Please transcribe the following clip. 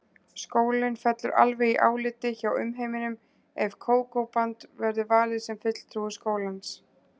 Skólinn fellur alveg í áliti hjá umheiminum ef Kókó-band verður valið sem fulltrúi skólans.